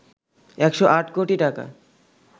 ১০৮ কোটি টাকা